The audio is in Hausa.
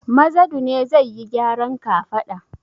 Mazadu ne zai yi gyaran kafada.